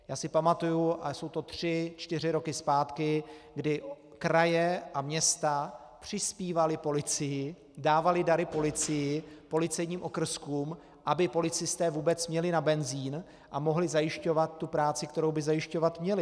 Já si pamatuji, a jsou to tři čtyři roky zpátky, kdy kraje a města přispívaly policii, dávaly dary policii, policejním okrskům, aby policisté vůbec měli na benzin a mohli zajišťovat tu práci, kterou by zajišťovat měli.